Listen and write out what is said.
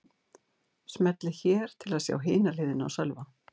Smellið hér til að sjá hina hliðina á Sölva